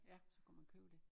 Ja så kunne man købe det